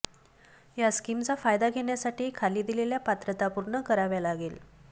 या स्कीमचा फायदा घेण्यासाठी खाली दिलेल्या पात्रता पूर्ण करावे लागेल